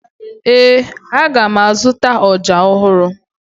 Ee, aga m azụta ọja ọhụrụ